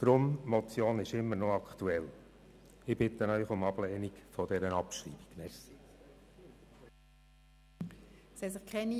Deshalb ist diese Motion immer noch aktuell, und ich bitte Sie um die Ablehnung ihrer Abschreibung.